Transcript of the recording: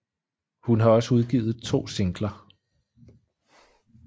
Hun har også udgivet to singler